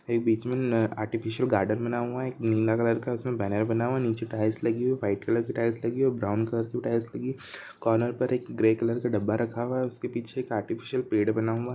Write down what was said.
एक बीच में आर्टिफीसियल गार्डन बना हुआ है एक नीला कलर का उस में बेन्नर बना हुआ है नीचे टाइल्स लगी हुई वाइट कलर की टाइल्स लगी हुई और ब्राउन कलर की टाइल्स लगी है कार्नर पर एक ग्रे कलर का डब्बा रखा हुआ है उस के पीछे एक आर्टिफीसियल पेड़ बना हुआ--